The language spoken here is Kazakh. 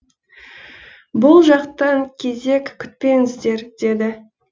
бұл жақтан кезек күтпеңіздер деді